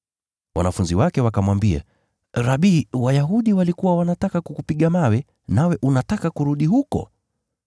Wanafunzi wake wakamwambia, “Rabi, Wayahudi walikuwa wanataka kukupiga mawe, nawe unataka kurudi huko?”